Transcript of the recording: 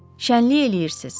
Şənlik eləyirsiz?